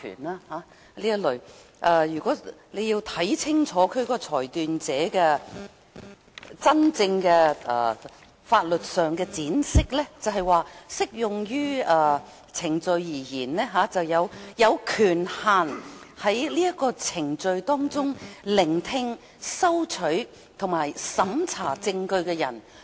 大家要看清楚"裁斷者"在法律上真正的闡釋，便是"就適用程序而言，指具有權限在該程序中聆聽、收取和審查證據的人。